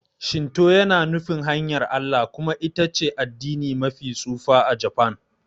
Shinto yana nufin 'hanyar Allah' kuma ita ce addini mafi tsufa a Japan.